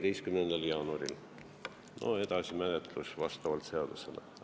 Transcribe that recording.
Edasi kulgeks menetlus vastavalt seadusele.